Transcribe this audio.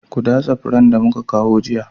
Ku datse furen da muka kawo jiya